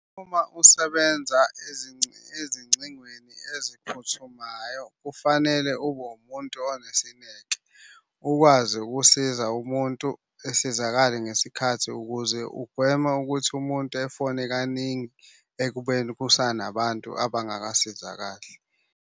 Uma usebenza ezingcingweni eziphuthumayo kufanele ube umuntu onesineke. Ukwazi ukusiza umuntu esizakale ngesikhathi ukuze ugweme ukuthi umuntu efone kaningi ekubeni kusanabantu abangakasizakali.